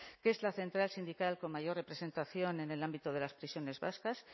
que es la central sindical con mayor representación en el ámbito de las prisiones vascas